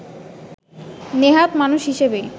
নেহাত মানুষ হিসেবেই